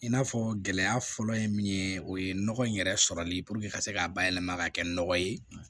I n'a fɔ gɛlɛya fɔlɔ ye min ye o ye nɔgɔ in yɛrɛ sɔrɔli puruke ka se k'a bayɛlɛma ka kɛ nɔgɔ ye